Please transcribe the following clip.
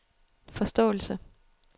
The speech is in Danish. forståelse